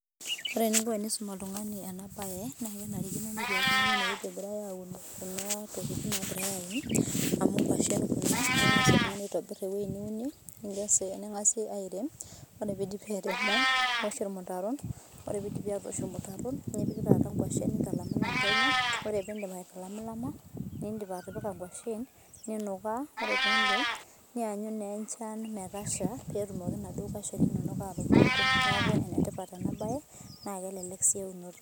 Ore eningo enisum oltungani ena bae naa kenarikino netii oltungani enewueni egirae aauno Kuna tokitin naagirae auno amu nkashen Kuna neeku engas iltungani aitobir ewueji niunie ningas ningasi airem ore piidipi airemo niwosh ilmutaron ore piidipi atoosho ilmutaron nepiki taata nkashen nintalamilam penyo ore piidip aitalamilama niidip atipika nkashen ninukaa ore piidip niyanyu naa enchan metasha pee tumoki naa inaduo nkashen inonok atubulutu naa enetipat ena baye naa kelelek sii eunoto.